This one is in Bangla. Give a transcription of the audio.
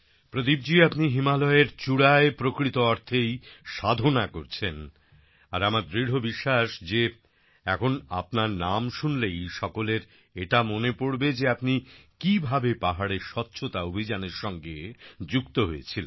প্রদীপ জি আপনি হিমালয়ের চূড়ায় প্রকৃত অর্থেই সাধনা করছেন আর আমার দৃঢ় বিশ্বাস যে এখন আপনার নাম শুনলেই সকলের এটা মনে পড়বে যে আপনি কিভাবে পাহাড়ের স্বচ্ছতা অভিযানের সঙ্গে যুক্ত হয়েছিলেন